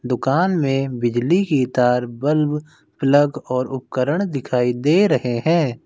दुकान में बिजली की तार बल्ब प्लग और उपकरण दिखाई दे रहे हैं।